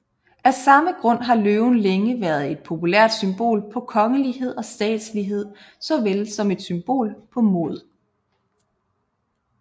Af samme grund har løven længe været et populært symbol på kongelighed og statslighed såvel som et symbol på mod